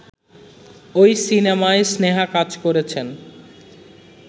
ওই সিনেমায় স্নেহা কাজ করেছেন